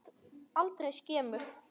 Aldrei skemur.